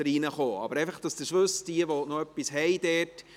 Dies einfach, damit es jene wissen, die dort etwas zu sagen haben;